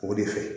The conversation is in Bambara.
O de fɛ